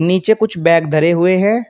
नीचे कुछ बैग धरे हुए हैं।